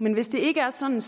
men hvis det ikke er sådan